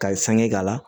Ka ye sange k'a la